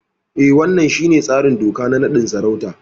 E, wannan shine tsarin doka na naɗin sarauta.